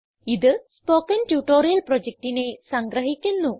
ഇത് spoken tutorial പ്രൊജക്റ്റിനെ സംഗ്രഹിക്കുന്നു